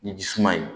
Ni jisuman ye